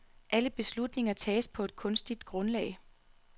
Alle beslutninger tages på et kunstigt grundlag.